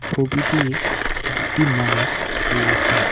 ছবিটি দুটি মানুষ রয়েছেন।